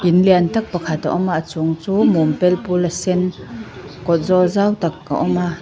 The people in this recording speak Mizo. lian tak pakhat a awma a chung chu mum pel pula sen kawt zawl zau tak a awm a.